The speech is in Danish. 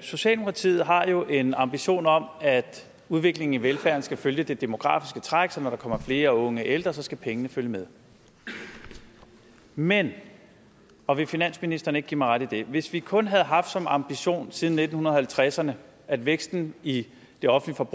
socialdemokratiet har jo en ambition om at udviklingen i velfærden skal følge det demografiske træk så når der kommer flere unge og ældre skal pengene følge med men og vil finansministeren ikke give mig ret i det hvis vi kun havde haft som ambition siden nitten halvtredserne at væksten i det offentlige